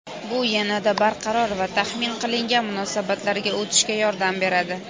bu "yanada barqaror va taxmin qilingan munosabatlarga" o‘tishga yordam beradi.